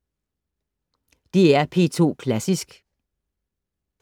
DR P2 Klassisk